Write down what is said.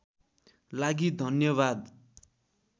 लागि धन्यवाद